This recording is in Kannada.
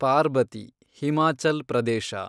ಪಾರ್ಬತಿ , ಹಿಮಾಚಲ್ ಪ್ರದೇಶ